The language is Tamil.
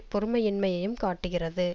பொறுமையின்மையையும் காட்டுகிறது